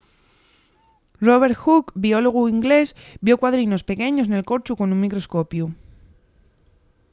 robert hooke biólogu ingleś vio cuadrinos pequeños nel corchu con un microscopiu